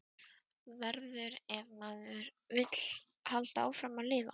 Verður- ef maður vill halda áfram að lifa.